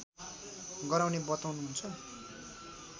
गराउने बताउनुहुन्छ